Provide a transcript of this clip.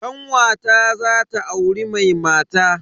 Kanwata zata auri mai mata.